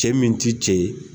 Cɛ min t'i cɛ ye.